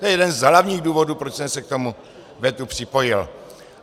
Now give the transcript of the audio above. To je jeden z hlavních důvodů, proč jsem se k tomu vetu připojil.